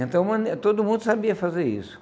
Então, todo mundo sabia fazer isso.